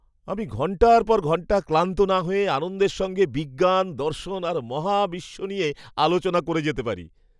আমি ঘণ্টার পর ঘণ্টা ক্লান্ত না হয়ে আনন্দের সঙ্গে বিজ্ঞান, দর্শন আর মহাবিশ্ব নিয়ে আলোচনা করতে পারি।